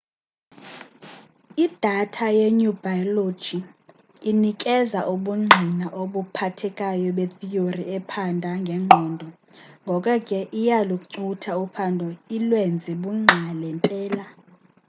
idatha yeneurobilogy inikeza ubundgqina obuphathekayo betheory ephanda ngengqondo ngoko ke iyalucutha uphando ilwenze lungqale mpela